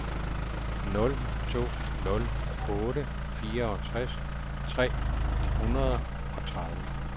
nul to nul otte fireogtres tre hundrede og tredive